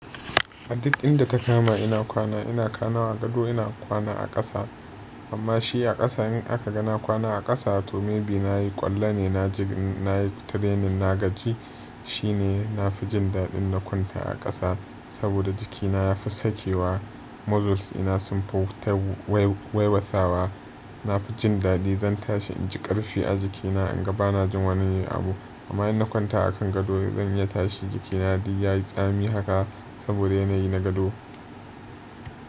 A duk inda ta kama ina kwana ina kwana a gado ina kwana a ƙasa amma shi a ƙasa in aka ga na kwana a ƙasa to maybe nayi ƙwallo ne nayi training na gaji shine na fi jin daɗin na kwanta a ƙasa saboda jikina ya fi sakewa muscles ina sun fi waiwatsawa na fi jin daɗi zan tashi in ji ƙarfi a jikina in ga bana jin wani abu amma in na kwanta akan gado zan iya tashi jikina duk yayi tsami haka saboda yanayi na gado.